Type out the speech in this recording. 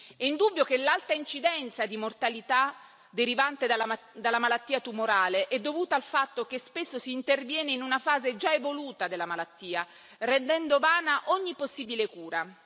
È indubbio che l'alta incidenza di mortalità derivante dalla malattia tumorale è dovuta al fatto che spesso si interviene in una fase già evoluta della malattia, rendendo vana ogni possibile cura.